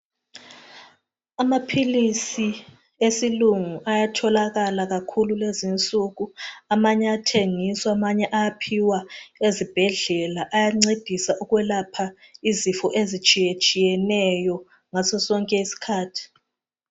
Amaphilisi esilungu ayatholakala kakhulu lezinsuku amanye ayathengiswa amanye ayaphiwa ezibhedlela ayancedisa ukwelapha izifo ezitshiyetshiyeneyo ngasosonke isikhathi.